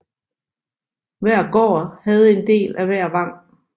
Hver gård havde en del af hver vang